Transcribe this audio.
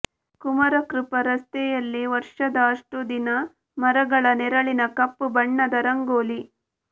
ಕುಮಾರಕೃಪಾ ರಸ್ತೆಯಲ್ಲಿ ವರ್ಷದ ಅಷ್ಟೂ ದಿನ ಮರಗಳ ನೆರಳಿನ ಕಪ್ಪುಬಣ್ಣದ ರಂಗೋಲಿ